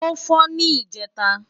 ó́ fọ́ ní ìjẹta